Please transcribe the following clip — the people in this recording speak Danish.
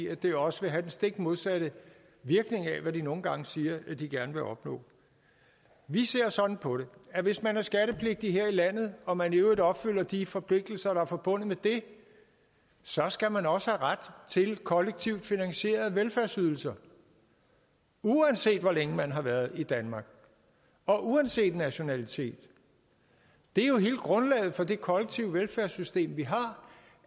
at det også vil have den stik modsatte virkning af hvad de nogle gange siger de gerne vil opnå vi ser sådan på det at hvis man er skattepligtig her i landet og man i øvrigt opfylder de forpligtelser der er forbundet med det så skal man også have ret til kollektivt finansierede velfærdsydelser uanset hvor længe man har været i danmark og uanset nationalitet det er jo hele grundlaget for det kollektive velfærdssystem vi har